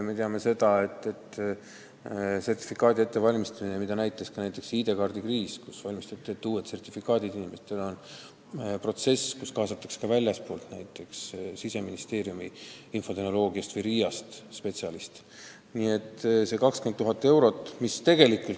Me teame seda, et sertifikaadiuuenduse ettevalmistamine – seda näitas ka ID-kaardi kriis, kus inimestele tuli ette valmistada uued sertifikaadid – on protsess, kuhu kaasatakse spetsialiste ka väljastpoolt maja, näiteks Siseministeeriumi infotehnoloogiakeskusest või RIA-st.